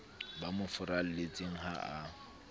ba mo furalletseng ha a